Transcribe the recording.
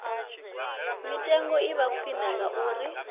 mitengo i vha khwine ngauri